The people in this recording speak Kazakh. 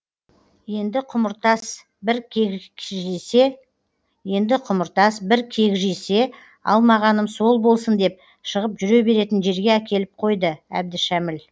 енді құмыртас бір кекжисе алмағаным сол болсын деп шығып жүре беретін жерге әкеліп қойды әбдішәміл